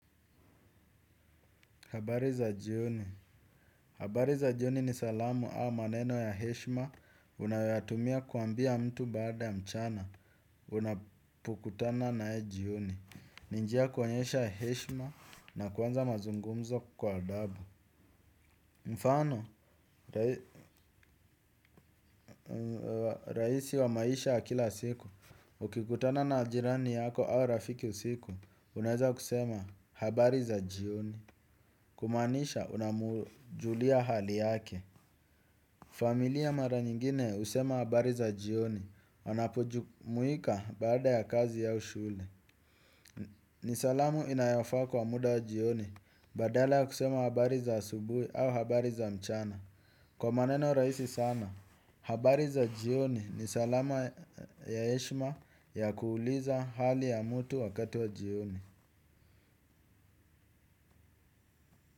Habari za jioni. Habari za jioni ni salamu au maneno ya heshma. Unayoyatumia kuambia mtu baada ya mchana unapokutana na yeye jioni ni njia ya kuonyesha heshma na kuanza mazungumzo kwa adabu. Mfano, rahisi wa maisha ya kila siku ukikutana na jirani yako au rafiki usiku unaweza kusema habari za jioni. Kumaanisha unamujulia hali yake. Familia mara nyingine usema habari za jioni, wanapujumuika baada ya kazi au shule. Ni salamu inayofaa kwa muda wa jioni, badala ya kusema habari za asubui au habari za mchana. Kwa maneno rahisi sana, habari za jioni ni salama ya heshma ya kuuliza hali ya mutu wakati wa jioni.